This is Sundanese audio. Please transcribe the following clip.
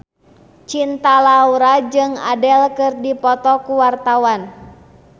Cinta Laura jeung Adele keur dipoto ku wartawan